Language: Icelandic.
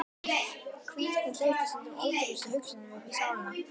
Hvíldin hleypir stundum ótrúlegustu hugsunum uppí sálina.